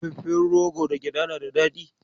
Dafaffen rogo da gyaɗa na da daɗi.